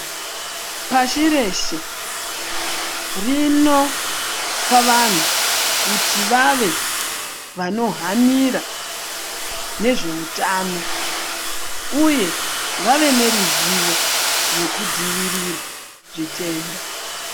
Pashi reshe rinopa vanhu kuti vave vanohanira nezveutano uye vave neruzivo rwekudzivirira zvitenda.